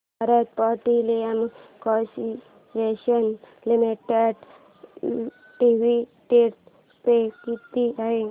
Bharat petroleum corporation limited dividend pay किती आहे